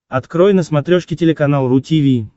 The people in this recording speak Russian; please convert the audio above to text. открой на смотрешке телеканал ру ти ви